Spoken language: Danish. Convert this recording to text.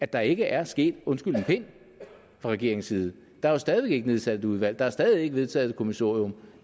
der ikke er sket undskyld en pind fra regeringens side der er stadig væk ikke nedsat et udvalg der er stadig væk ikke vedtaget et kommissorium